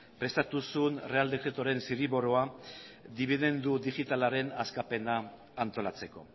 prestatu zuen errege dekretuaren zirriborroa dibidendu digitalaren askapena antolatzeko